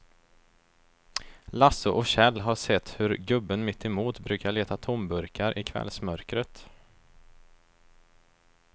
Lasse och Kjell har sett hur gubben mittemot brukar leta tomburkar i kvällsmörkret.